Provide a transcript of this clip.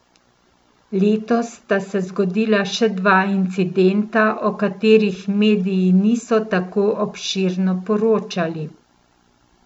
Letos sta se zgodila še dva incidenta, o katerih mediji niso tako obširno poročali.